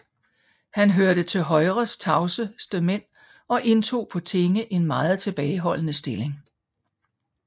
Han hørte til Højres tavseste mænd og indtog på tinge en meget tilbageholden stilling